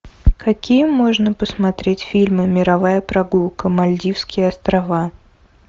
какие можно посмотреть фильмы мировая прогулка мальдивские острова